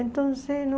Então, não...